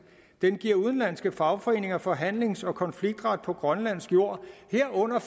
den giver udenlandske fagforeninger forhandlings og konfliktret på grønlandsk jord herunder